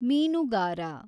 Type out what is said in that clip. ಮೀನುಗಾರ